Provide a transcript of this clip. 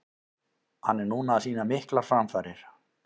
Hann er núna að sýna miklar framfarir.